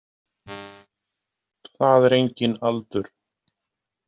Það er enginn aldur.